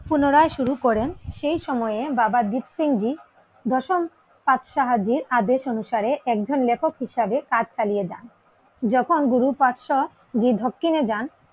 পুনরায় শুরু করেন সেই সময়ে বাবা দ্বীপ সিং জী দশম পাঠ সাহায্যে আদেশ অনুসারে একজন লেখক হিসাবে কাজ চালিয়ে যান যখন গুরু পাঠসা জি দক্ষিণে যান